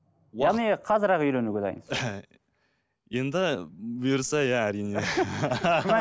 яғни қазір ақ үйленуге дайынсыз енді бұйырса иә әрине